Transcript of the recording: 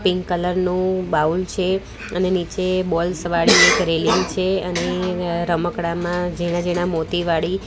pink colour નુ bowl છે અને નીચે ની એક રેલિંગ છે અને રમકડામાં ઝીણા ઝીણા મોતી વાડી --